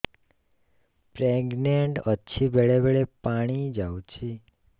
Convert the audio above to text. pregnant ଅଛି ବେଳେ ବେଳେ ପାଣି ଯାଉଛି